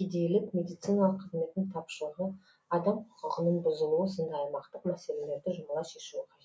кедейлік медициналық қызметтің тапшылығы адам құқығының бұзылуы сынды аймақтық мәселелерді жұмыла шешуі қажет